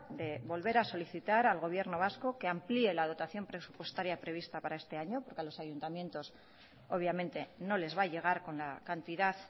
de volver a solicitar al gobierno vasco que amplíe la dotación presupuestaria prevista para este año porque a los ayuntamientos obviamente no les va a llegar con la cantidad